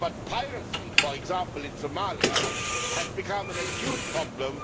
But piracy, for example in Somalia, has become an acute problem.